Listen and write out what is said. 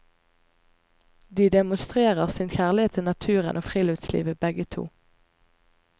De demonstrerer sin kjærlighet til naturen og friluftslivet begge to.